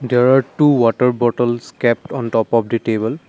there are two water bottles kept on top of the table.